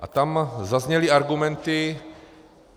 A tam zazněly argumenty.